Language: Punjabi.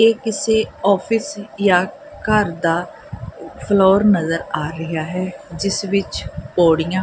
ਇਹ ਕਿਸੇ ਆਫਿਸ ਜਾਂ ਘਰ ਦਾ ਫਲੋਰ ਨਜ਼ਰ ਆ ਰਿਹਾ ਹੈ ਜਿਸ ਵਿੱਚ ਪੌੜੀਆਂ--